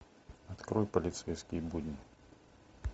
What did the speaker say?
открой полицейские будни